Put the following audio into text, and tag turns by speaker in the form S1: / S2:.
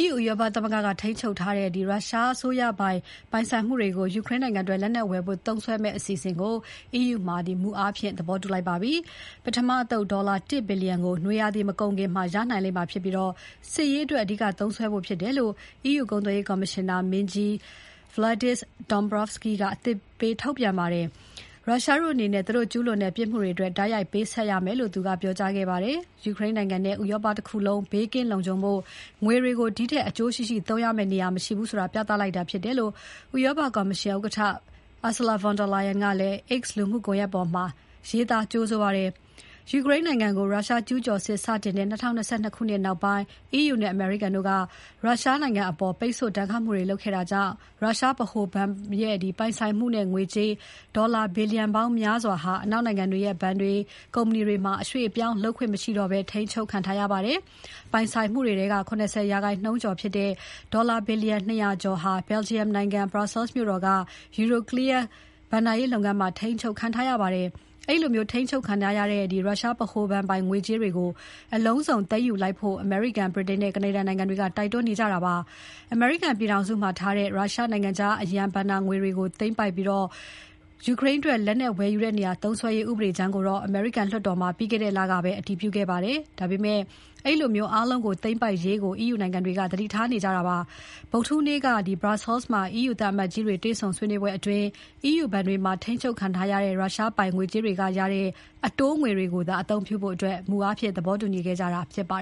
S1: EU ဥရောပသမဂ္ဂက ထိန်းချုပ်ထားတဲ့ ရုရှားပိုင်ဆိုင်မှုတွေကို ယူကရိန်းအတွက် လက်နက်ဝယ်ဖို့ သုံးစွဲမယ့်သဘောတူညီချက်ကို EU မှာ မူအားဖြင့် သဘောတူလိုက်ပါပြီ။ ပထမအသုတ် ဒေါ်လာ ၁ ဘီလျံကို နွေရာသီ မကုန်ခင် ရနိုင်လိမ့်မှာဖြစ်ပြီး စစ်ရေးအတွက် အဓိက သုံးစွဲဖို့ဖြစ်တယ်လို့ EU ကုန်သွယ်ရေး ကော်မရှင်နာမင်းကြီး Valdis Dombrovskis က အသိပေးထုတ်ပြန်ပါတယ်။ ရုရှားတို့အနေနဲ့ သူတို့ကျူးလွန်တဲ့ ပစ်မှုတွေအတွက် တိုက်ရိုက်ပေးဆပ်ရမယ်လို့ သူက ပြောကြားခဲ့ပါတယ်။ ယူကရိန်းနိုင်ငံနဲ့ ဥရောပတခုလုံး ဘေးကင်းလုံခြုံဖို့ ငွေတွေကို ဒီထက်အကျိုးရှိရှိ သုံးရမယ့် နေရာ မရှိဘူးဆိုတာ ပြသလိုက်တာဖြစ်တယ်လို့ ဥရောပကော်မရှင်ဥက္ကဋ္ဌ Ursula von der Leyen က X လူမှုကွန်ရက်ပေါ်မှာ ရေးသား ကြိုဆိုခဲ့ပါတယ်။ ယူကရိန်းနိုင်ငံကို ရုရှား ကျူးကျော်စစ် စတင်တဲ့ ၂၀၂၂ ခုနှစ်နောက်ပိုင်း EU နဲ့ အမေရိကန်တို့က ရုရှားအပေါ် ပိတ်ဆို့ဒဏ်ခတ်မှုတွေ လုပ်ခဲ့တာကြောင့် ရုရှားဗဟိုဘဏ်ရဲ့ ပိုင်ဆိုင်မှုနဲ့ ငွေကြေး ဒေါ်လာ ဘီလျံပေါင်းများစွာဟာ အနောက်နိုင်ငံတွေရဲ့ ဘဏ်တွေ ကုမ္ပဏီတွေမှာ အရွှေ့အပြောင်းလုပ်ခွင့်မရှိတော့ဘဲ ထိန်းချုပ်ခံထားရပါတယ်။ ပိုင်ဆိုင်မှုတွေထဲက ၇၀% ကျော်ဖြစ်တဲ့ ဒေါ်လာ ဘီလျံ ၂၀၀ ကျော်ဟာ Belgium နိုင်ငံ Brussels မြို့တော်က Euroclear ဘဏ္ဍာရေးလုပ်ငန်းမှာ ထိန်းချုပ်ခံထားပါတယ်။ အဲဒီလို ထိန်းချုပ်ခံထားရတဲ့ ရုရှားဗဟိုဘဏ်ပိုင် ငွေကြေးတွေကို အလုံးစုံ သိမ်းယူလိုက်ဖို့ အမေရိကန်၊ ဗြိတိန်နဲ့ ကနေဒါနိုင်ငံတွေက တိုက်တွန်းနေကြတာပါ။ အမေရိကန်ပြည်ထောင်စုမှာထားတဲ့ ရုရှားနိုင်ငံခြားအရန်ငွေတွေကို သိမ်းပိုက်ပြီး ယူကရိန်းအတွက် လက်နက်ဝယ်ယူတဲ့နေရာမှာ သုံးစွဲရေး ဥပဒေကြမ်းကို အမေရိကန်လွှတ်တော်မှာ ပြီးခဲ့တဲ့လကပဲ အတည်ပြုခဲ့ပါတယ်။ ဒါပေမဲ့ အဲဒီလို အားလုံးကို သိမ်းပိုက်လိုက်ရေးကို EU နိုင်ငံတွေက သတိထားခဲ့ကြပါတယ်။ ဗုဒ္ဓဟူးနေ့က Brussels မှာ EU သံအမတ်ကြီးတွေ တွေ့ဆုံဆွေးနွေးပွဲမှာ EU ဘဏ်တွေမှာ ထိန်းချုပ်ခံထားရတဲ့ ရုရှားပိုင်ငွေကြေးတွေကရတဲ့ အတိုးငွေတွေကိုသာ အသုံးပြုဖို့ မူအားဖြင့် သဘောတူညီခဲ့ကြတာ ဖြစ်ပါ